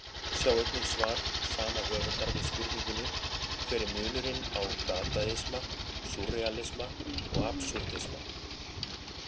Sjá einnig svar sama höfundar við spurningunni Hver er munurinn á dadaisma, súrrealisma og absúrdisma?